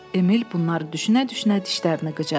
Emil bunları düşünə-düşünə dişlərini qıcadı.